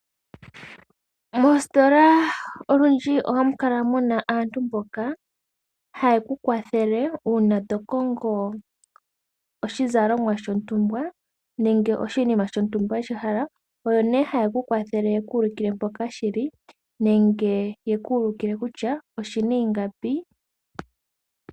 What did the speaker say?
Moositola olundji ohamukala muna aantu mboka haye ku kwathele uuna tokongo oshizalomwa shontumba nenge oshinima shontumba weshihala, oyo nee haye ku kwathele yekuulukile mpoka shili nenge yeku ulukile kutya oshina ingapi.